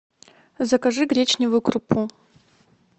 закажи гречневую крупу